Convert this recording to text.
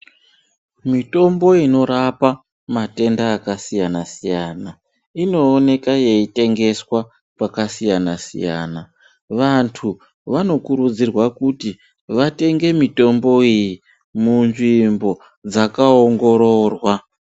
Mitombo inorapa matenda akasiyana-siyana, inoneka yeitengeswa pakasiyana-siyana. Vantu vanokurudzirwa kuti vatenge mitombo iyi munzvimbo dzakaongororwa.